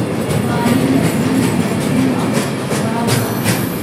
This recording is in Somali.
Maareynta biyaha ayaa muhiim u ah waraabka.